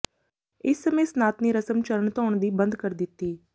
ਇਸ ਸਮੇਂ ਸਨਾਤਨੀ ਰਸਮ ਚਰਨ ਧੋਣ ਦੀ ਬੰਦ ਕਰ ਦਿਤੀ